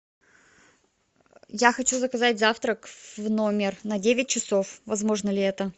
я хочу заказать завтрак в номер на девять часов возможно ли это